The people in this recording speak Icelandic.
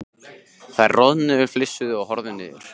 Þær roðnuðu, flissuðu og horfðu niður.